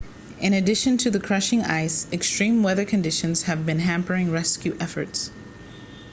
in addition to the crushing ice extreme weather conditions have been hampering rescue efforts